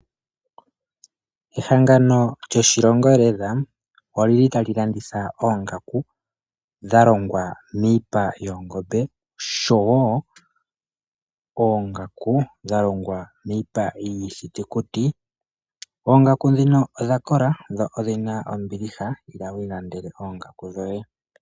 Ehangano lyoshilongo leather olili tali landitha oongaku dhalongwa miipa yoongombe oshowo oongaku dhalongwa miipa yiithitukuti ,oongaku ndhino odha kola lela dho ondhina ombiliha, ila wu ilandele oongaku dhoye.